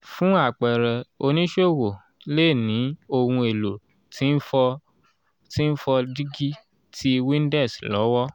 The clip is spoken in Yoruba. fún àpẹẹrẹ oníṣòwò lè ní ohun èlò tí n fọ tí n fọ dígí ti windex lọ́wọ ́.